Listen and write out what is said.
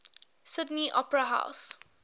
sydney opera house